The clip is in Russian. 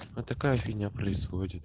вот такая фигня происходит